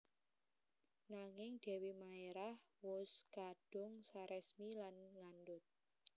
Nanging Dèwi Maérah wus kadung saresmi lan ngandhut